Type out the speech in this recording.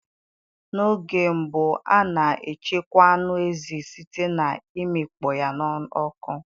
N'oge mbụ a na echekwa anụ ezi site na imikpo ya n'oku